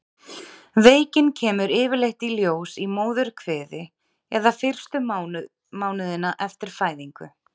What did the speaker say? Veikin kemur yfirleitt í ljós í móðurkviði eða fyrstu mánuðina eftir fæðingu.